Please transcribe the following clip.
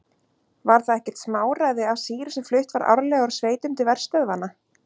Var það ekkert smáræði af sýru sem flutt var árlega úr sveitum til verstöðvanna.